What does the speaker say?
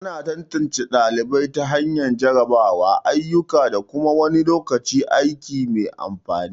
Ana tantance ɗalibai ta hanyar jarrabawa, ayyuka, da kuma wani lokacin aiki mai amfani.